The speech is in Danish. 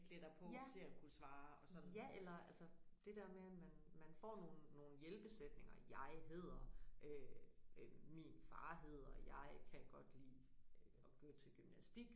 Ja ja eller altså det der med at man man får nogen nogen hjælpesætninger jeg hedder øh øh min far hedder jeg kan godt lide øh at gå til gymnastik